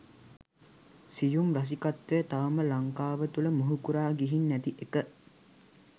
සියුම් රසිකත්වය තවම ලංකාව තුළ මුහුකුරා ගිහින් නැති එක